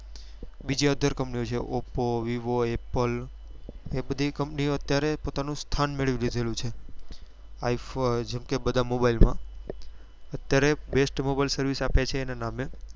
બીજી other company ઓ છે oppo vivo apple એ બધી company ઓએ અત્યારે પોતાનું સ્થાન મેળવી લીધું છે iphone કેમ કે બધા mobile માં અત્યારે best mobile service આપે છે એના નામ છે